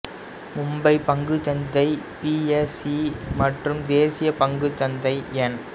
மும்பை பங்குச் சந்தை B S E மற்றும் தேசியப் பங்குச் சந்தை என்